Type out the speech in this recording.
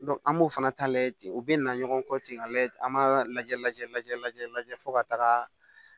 an b'o fana ta lajɛ u bɛ na ɲɔgɔn kɔ ten ka lajɛ an b'a lajɛ lajɛ lajɛ lajɛ fo ka taga